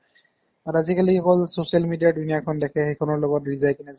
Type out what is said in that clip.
কাৰণ আজিকালি হ'ল social media দুনীয়াখন দেখে সেইখনৰ লগত ৰিজাই কিনে